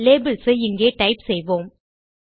labels ஐ இங்கே type செய்வோம்